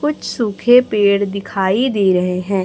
कुछ सूखे पेड़ दिखाई दे रहे हैं।